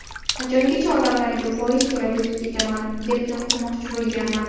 Qachongacha odamlarga foiz to‘lab o‘tib ketaman, deb to‘xtatmoqchi bo‘lganman.